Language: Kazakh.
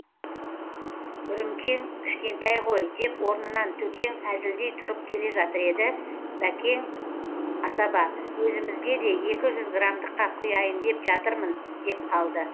үрімкең кішкентай ғой деп орнынан төкең әзілдей тұрып келе жатыр еді бәкең асаба өзімізге де екі жүз грамдыққа құяйын деп жатырмын деп қалды